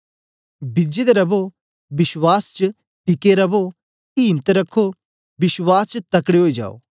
बिजे दे रवो विश्वास च टिके रवो इम्त रखो विश्वास च तकड़े ओई जायो